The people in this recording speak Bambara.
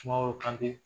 Sumaworo kante